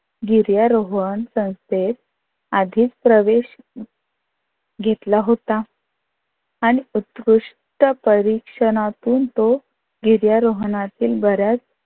गिर्यारोहण संस्थेत आधीच प्रवेश घेतला होता, आणि उत्कृष्ट परीक्षणातून तो गिर्यारोहणातील बर्याच